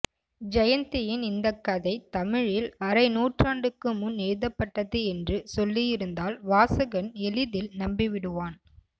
ஜெயந்தியின் இந்தக்கதை தமிழில் அரைநூற்றாண்டுக்கு முன் எழுதப்பட்டது என்று சொல்லியிருந்தால் வாசகன் எளிதில் நம்பிவிடுவான்